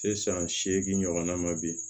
Sisan seegin ɲɔgɔnna ma bi